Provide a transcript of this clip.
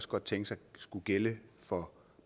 godt tænke sig skulle gælde for